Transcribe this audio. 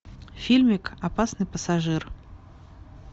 фильмик опасный пассажир